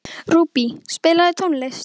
Rúbý, spilaðu tónlist.